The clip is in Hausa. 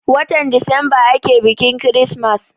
Watan desemba ake biƙin kirismas.